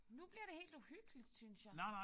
Nu bliver det helt uhyggeligt synes jeg